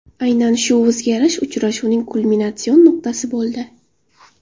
Aynan shu o‘zgarish uchrashuvning kulminatsion nuqtasi bo‘ldi.